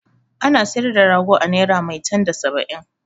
Ana sayar da rago a naira maitan da saba'in.